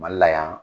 Mali la yan